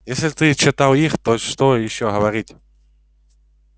если ты читал их то что ещё говорить